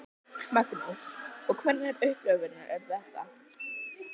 Magnús: Og hvernig upplifun er þetta?